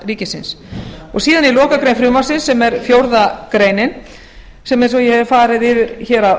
ríkisins síðan í lokagrein frumvarpsins sem er fjórða grein eins og ég hef farið yfir hér að